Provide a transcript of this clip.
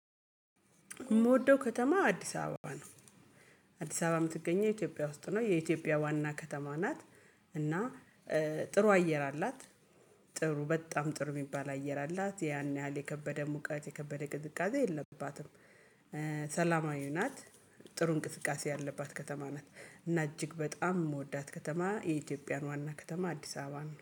የምወደው ከተማ አዲስ አበባ ነው። አዲስ አበባ የምትገኘው ኢትዮጵያ ውስጥ ነው የኢትዮጵያ ዋና ከተማ ናት። እና ጥሩ አየር አላት። ጥሩ በጣም ጥሩ የሚባል አየር አላት ያን ያህል የከበደ ሙቀት የከበደ እንቅስቃሴ የለባትም። ሰላማዊ ናት። ጥሩ እንቅስቃሴ ያለባት ከተማ ናት እና እጅግ በጣም የምወዳት ከተማ። የኢትዮጵያን ዋና ከተማ አዲስ አበባን